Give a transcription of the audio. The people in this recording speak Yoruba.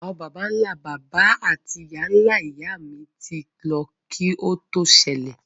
Àwon bàbánlá-bàbá áti ìyáláyá mi ti lo ki o to sẹlẹ̀